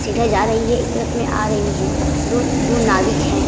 सीधा जा रही है एक तरफ में आ रही है दो-दो नाविक हैं ।